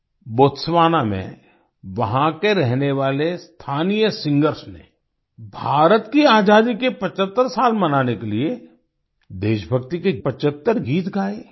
Botswana में वहाँ के रहने वाले स्थानीय सिंगर्स ने भारत की आज़ादी के 75 साल मनाने के लिए देशभक्ति के 75 गीत गाए